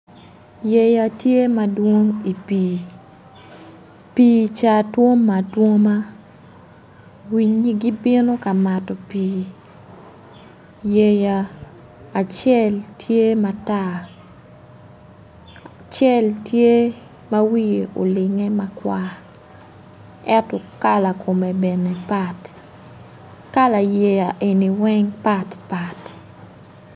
Yeya tye madwong i pii, pii ca twomme atwoma winyi gibino ka mato pii yeya acel tye ma tar acel tye ma wiye okinge makwar ento kala kome bene pat kala yeya eni weng bene patpat.